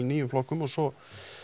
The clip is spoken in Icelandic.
nýju flokkum og svo